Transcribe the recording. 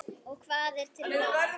Og hvað er til ráða?